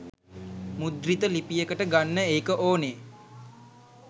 මුද්‍රිත ලිපියකට ගන්න ඒක ඕනේ.